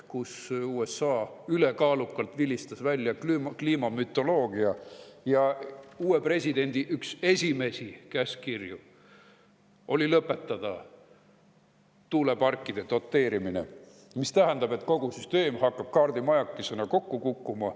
USA vilistas ülekaalukalt välja kliimamütoloogia ja uue presidendi üks esimesi käskkirju oli lõpetada tuuleparkide doteerimine, mis tähendab, et kogu süsteem hakkab kaardimajakesena kokku kukkuma.